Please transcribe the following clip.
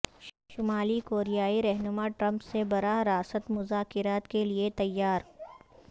شمالی کوریائی رہنما ٹرمپ سے براہ راست مذاکرات کے لیے تیار